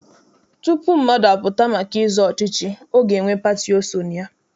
Tutu mmadụ apụta maka ịzọ ọchịchị, ọ ga-enwe pati o so na ya.